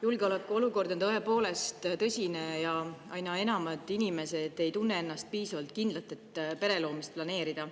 Julgeolekuolukord on tõepoolest tõsine ja aina enam inimesi ei tunne ennast piisavalt kindlalt, et pere loomist planeerida.